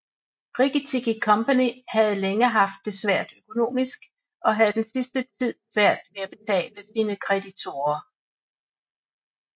Rikki Tikki Company havde længe haft det svært økonomisk og havde den sidste tid svært ved at betale sine kreditorer